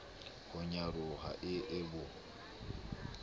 ho nyaroha e e bo